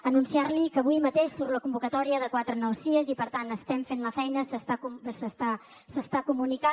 anunciar li que avui mateix surt la convocatòria de quatre nous sies i per tant estem fent la feina s’està comunicant